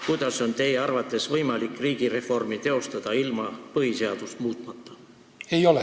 Kuidas on teie arvates võimalik riigireformi teostada ilma põhiseadust muutmata?